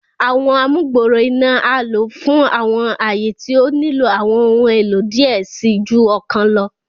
Àwọn amugbooro iná a lo fún awọn aaye tí o nilo awọn ohùn èlò diẹ ẹ sii ju ọkàn lọ